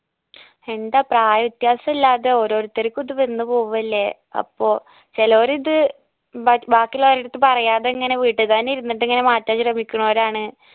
എന്താ പ്രായ വ്യത്യാസം ഇല്ലാതെ ഓരോരുത്തർക്കും ഇത് വന്ന് പോവല്ലേ അപ്പൊ ചേലൂര് ഇത് ബ ബാക്കി ഇല്ലൊരിടത്ത് പറയാതെ ഇങ്ങനെ വീട്ടി തന്നെ ഇരുന്നിട്ട് ഇങ്ങനെ മാറ്റാൻ ശ്രമിക്കൂണൊരാണ്